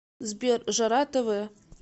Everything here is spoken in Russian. сбер жара тэ вэ